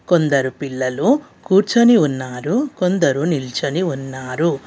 కొందరు పిల్లలు కూర్చొని ఉన్నారు కొందరు నిల్చని ఉన్నారు.